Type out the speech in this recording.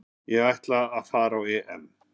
Ég ætla að fara á EM